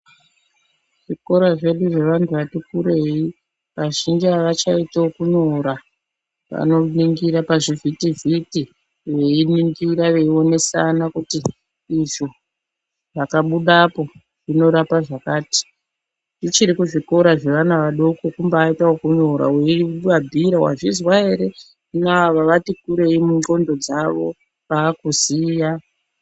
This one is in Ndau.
Zvikora zvedu zve vantu vati kurei vazhinji avachaiti okunyora vanoningira pazvivhitivhiti veiningira veionesana kuti izvo zvakabuda apo zvinorapa zvakati. Kuchiri kuzvikora zvevana vadoko kumbaita ekunyora weivabhiira wazvizwa ere, hino ava vati kurei mundxondo dzavo vaakuziya.